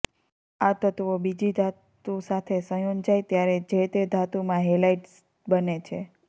આ તત્ત્વો બીજી ધાતુ સાથે સંયોજાય ત્યારે જે તે ધાતુમાં હેલાઈડ્સ બને છે